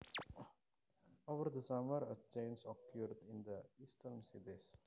Over the summer a change occurred in the eastern cities